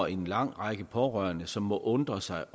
en lang række pårørende som må undre sig